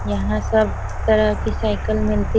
यहाँ सब तरह की साइकिल मिलती --